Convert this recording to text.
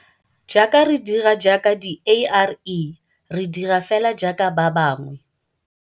Jaaka re dira jaaka diARE re dira feela jaaka ba bangwe.